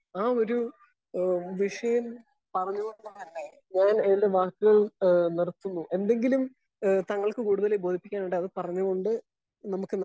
Speaker 1 ആ ഒരു ഏഹ് വിഷയം പറഞ്ഞു കൊണ്ട് ഞാൻ എൻ്റെ വാക്കുകൾ ഏഹ് നിർത്തുന്നു. എന്തെങ്കിലും ഏഹ് താങ്കൾക്ക് ബോധിപ്പിക്കാൻ ഉണ്ടോ അത് പറഞ്ഞുകൊണ്ട് നമുക്ക്